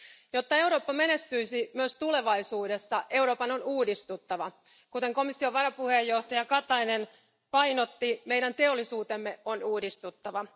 Jotta Eurooppa menestyisi myös tulevaisuudessa, Euroopan on uudistuttava. Kuten komission varapuheenjohtaja Katainen painotti, meidän teollisuutemme on uudistuttava.